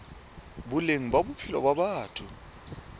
boleng ba bophelo ba batho